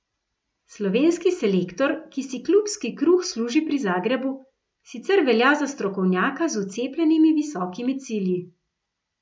Slovenski selektor, ki si klubski kruh služi pri Zagrebu, sicer velja za strokovnjaka z vcepljenimi visokimi cilji.